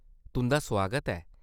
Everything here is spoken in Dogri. तुंʼदा सुआगत ऐ।